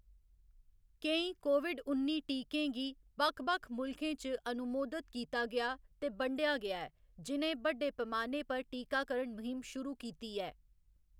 केईं कोविड उन्नी टीकें गी बक्ख बक्ख मुल्खें च अनुमोदत कीता गेआ ते बंडेआ गेआ ऐ, जि'नें बड्डे पैमाने पर टीकाकरण म्हीम शुरू कीती ऐ।